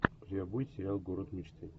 у тебя будет сериал город мечты